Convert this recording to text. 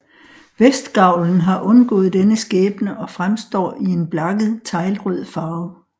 Vestgavlen har undgået denne skæbne og fremstår i en blakket teglrød farve